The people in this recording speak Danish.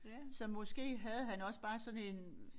Så måske havde han også bare sådan en